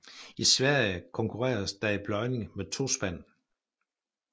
I Sverige konkurreres der i pløjning med tospand